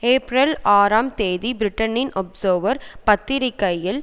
April ஆறாம் தேதி பிரிட்டனின் ஒப்சேர்வர் பத்திரிகையில்